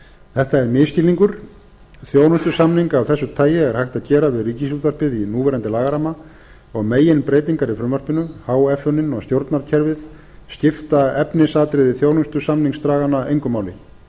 þetta er misskilningur þjónustusamning af þessu tagi er hægt að gera við ríkisútvarpið í núverandi lagaramma og meginbreytingar í frumvarpinu háeffunin og stjórnarkerfið skipta efnisatriði þjónustusamningsdraganna engu máli